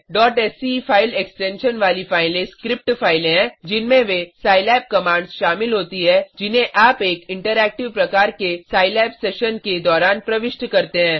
sce file extension वाली फाइलें script फाइलें हैं जिनमें वे सिलाब कमांड्स शामिल होती है जिन्हें आप एक इंटरैक्टिव प्रकार के सिलाब सेशन के दौरान प्रविष्ट करते हैं